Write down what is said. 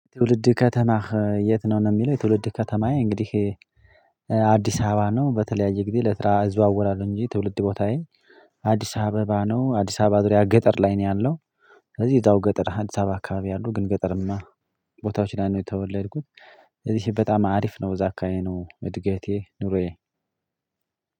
ትውልድ ከተማህ የት ነው? ነው የሚለው የትውልድ ከተማዬ እንግዲህ አዲስ አበባ ነው። በተለያየ ጊዜ ለስራ እዘዋወራለሁ እንጂ ትውልድ ቦታዬ አዲስ አበባ ነው። አዲስ አበባ ዙሪያ ገጠር ላይ ነው ያለሁ። ስለዚህ እዛው ገጠር አዲስ አበባ አካባቢ አሉ ግን ገጠርማ ቦታዎች ላይ ነው የተወለድኩት። እዚህ በጣም አሪፍ ነው እዛ አካባቢ ነው እድገቴ ኑሮዬ።